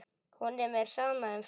Honum er sama um fólk.